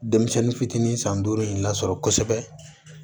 Denmisɛnnin fitinin san duuru in lasɔrɔ kosɛbɛ